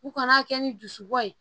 U kana kɛ ni dusu bɔ ye